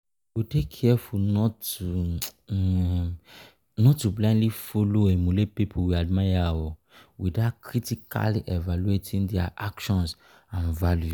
we go dey careful not to um blindly follow or emulate people we admire [oh]without critically evaluating dia actions and values.